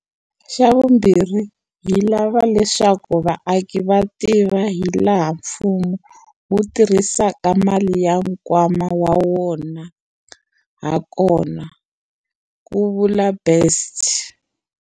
Xavumbirhi, hi lava leswaku vaaki va tiva hilaha mfumo wu tirhisaka mali ya nkwama wa wona hakona, ku vula Best.